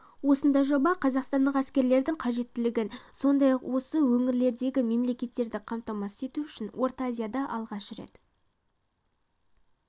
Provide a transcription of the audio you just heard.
осындай жоба қазақстандық әскердің қажеттілігін сондай-ақ осы өңірлердегі мемлекеттерді қамтамасыз ету үшін орта азияда алғаш рет